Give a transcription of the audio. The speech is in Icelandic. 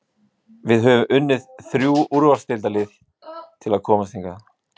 Við höfum unnið þrjú úrvalsdeildarlið til að komast hingað.